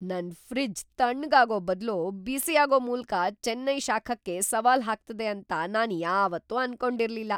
ನನ್ ಫ್ರಿಜ್ ತಣ್ಣಗಾಗೋ ಬದ್ಲು ಬಿಸಿಯಾಗೋ ಮೂಲ್ಕ ಚೆನ್ನೈ ಶಾಖಕ್ಕೆ ಸವಾಲ್ ಹಾಕ್ತದೆ ಅಂತ ನಾನ್ ಯಾವಾತ್ತು ಅನ್ಕೊಂಡಿರ್ಲಿಲ್ಲ !